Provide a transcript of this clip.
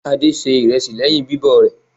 Adé se ìrẹsì lẹ́yìn bíbọ̀ rẹ̀.